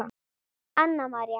Anna María.